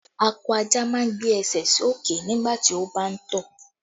Akọ ajá máa ń gbé ẹsẹ̀ sí òkè nígbà tí ó bá ń tọ̀